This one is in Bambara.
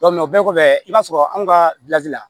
o bɛɛ kɔfɛ i b'a sɔrɔ anw ka la